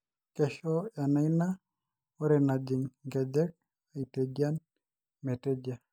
keisho ena ina are najing inkejek aitejian..metejia.